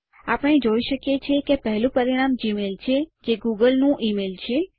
આપણે જોઇ શકીએ છીએ કે પેહલું પરિણામ જીમેઇલ છે જે ગૂગલ નું ઇમેઇલ છે